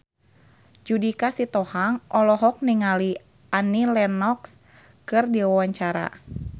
Judika Sitohang olohok ningali Annie Lenox keur diwawancara